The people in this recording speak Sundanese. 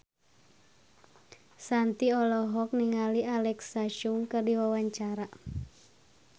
Shanti olohok ningali Alexa Chung keur diwawancara